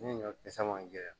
Ne ɲɔ kisɛ man jɛ